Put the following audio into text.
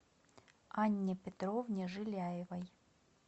анне петровне жиляевой